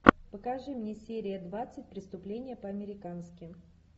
покажи мне серия двадцать преступление по американски